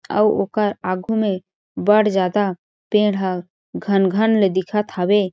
अउ ओकर आगू में बड़ ज्यादा पेड़ ह घन-घन ले दिखत हवे।